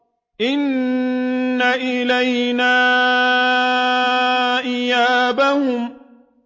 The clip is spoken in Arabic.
إِنَّ إِلَيْنَا إِيَابَهُمْ